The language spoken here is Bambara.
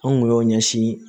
An kun y'o ɲɛsin